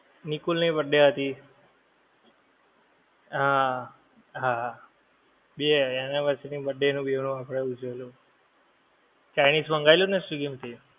નિકુલ ની birthdate હતી. હા હા બે anniversary birthday નું ભી આપણે ઉજવેલું chinese મંગાવી લ્યો ને swiggy માથી